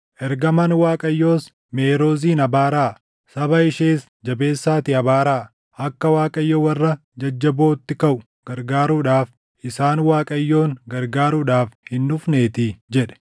Ergamaan Waaqayyoos, ‘Meerozin abaaraa. Saba ishees jabeessaatii abaaraa; akka Waaqayyo warra jajjabootti kaʼu gargaaruudhaaf, isaan Waaqayyoon gargaaruudhaaf hin dhufneetii’ jedhe.